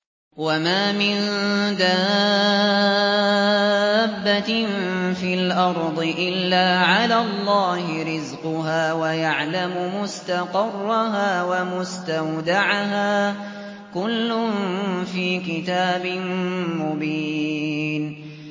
۞ وَمَا مِن دَابَّةٍ فِي الْأَرْضِ إِلَّا عَلَى اللَّهِ رِزْقُهَا وَيَعْلَمُ مُسْتَقَرَّهَا وَمُسْتَوْدَعَهَا ۚ كُلٌّ فِي كِتَابٍ مُّبِينٍ